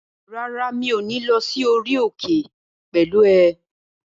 Rárá, mi ò ní lọ sí orí òkè pẹ̀lú ẹ